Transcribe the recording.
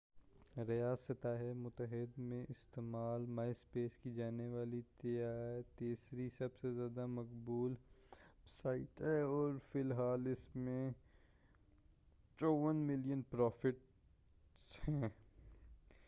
myspace ریاستہائے متحدہ میں استعمال کی جانے والی تیسری سب سے زیادہ مقبول ویب سائٹ ہے اور فی الحال اس میں 54 ملین پروفائلز ہیں